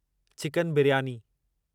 chicken biryani